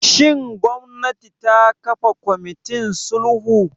Shin gwamnati ta kafa kwamitin sulhu?